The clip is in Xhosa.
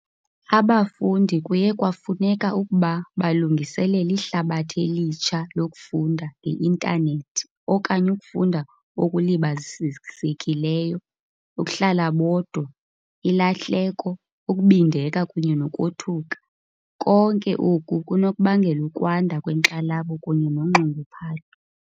Abafundi kuye kwafuneka ukuba balungiselele ihlabathi elitsha lokufunda nge-intanethi okanye ukufunda okulibazisekileyo, ukuhlala bodwa, ilahleko, ukubindeka kunye nokothuka, konke oku kunokubangela ukwanda kwenkxalabo kunye nonxunguphalo.